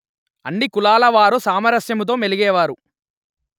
అన్ని కులాల వారు సామరస్యమముతో మెలిగేవారు